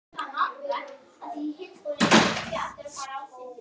Hafa þær sent póst?